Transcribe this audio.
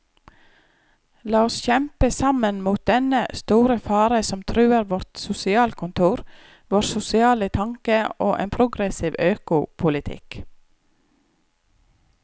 La oss kjempe sammen mot dennne store fare som truer vårt sosialkontor, vår sosiale tanke og en progressiv økopolitikk.